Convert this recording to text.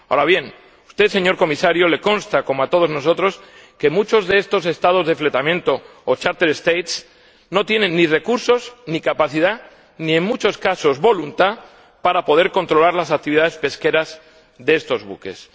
Ahora bien, a usted, señor Comisario, le consta como a todos nosotros que muchos de estos Estados de fletamento no tienen ni recursos ni capacidad ni en muchos casos voluntad para poder controlar las actividades pesqueras de estos buques.